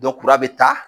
kura bɛ taa